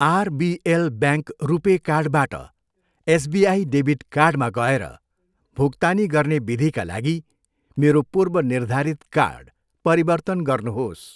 RBL bank RuPay कार्डबाट SBI debit कार्डमा गएर भुक्तानी गर्ने विधिका लागि मेरो पूर्वनिर्धारित कार्ड परिवर्तन गर्नुहोस्।